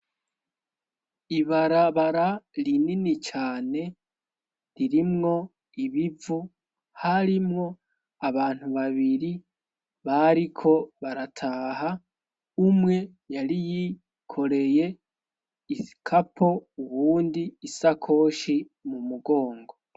ibarabara rinini cyane ririmwo ibivu harimwo abantu babiri bariko barataha umwe yari yikoreye ikapo uwundi isakoshi mu mugongo